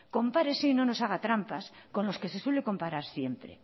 compárese y no nos haga trampas con los que se suele comparar siempre